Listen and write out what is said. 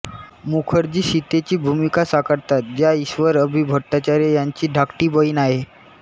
मुखर्जी सीतेची भूमिका साकारतात ज्या ईश्वर अभि भट्टाचार्य यांची धाकटी बहीण आहे